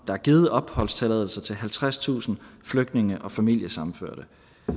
er givet opholdstilladelse til halvtredstusind flygtninge og familiesammenførte